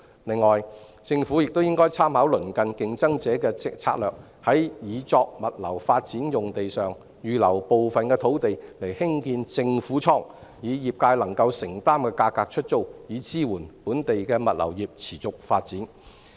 另外，政府應參考鄰近競爭者的策略，在擬作物流發展用地上預留部分土地興建政府倉，以業界能夠承擔的價格出租，以支援本地的物流業持續發展。